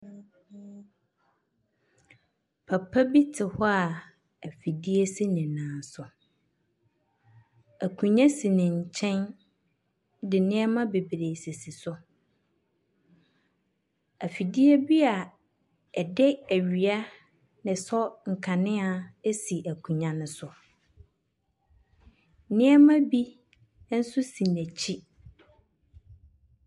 Papa bi te hɔ a ,afidie si ne nan so. Akunnwa si ne nkyɛn de nneɛma bebree sisi so. Afidie bi a ɛde awia nɛ sɔ nkanea ɛsi akunwa no so. Nneɛma bi, ɛnso si n'akyi.